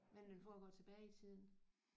Men den foregår tilbage i tiden?